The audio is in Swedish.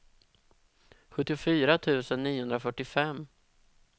sjuttiofyra tusen niohundrafyrtiofem